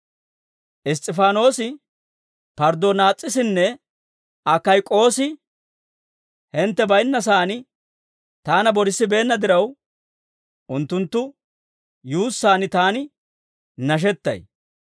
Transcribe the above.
Iss's'ifaanoosi, Parddonaas'isinne Akayk'oosi hintte baynnasaan taana boorasissibeenna diraw, unttunttu yuussaan taani nashettay.